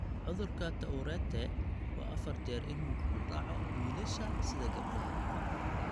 Cudurka Tourette waa afar jeer in uu ku dhaco wiilasha sida gabdhaha.